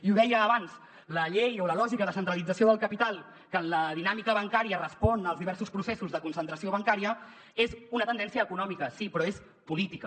i ho deia abans la llei o la lògica de centralització del capital que la dinàmica bancària respon als diversos processos de concentració bancària és una tendència econòmica sí però és política